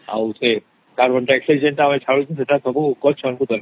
ଆଉ ସେଟ ଜୋ carbon dioxide ଜୋ ଛାଡୁଛେ ସେତ ଗଛ ମନକୁ ଦରକାର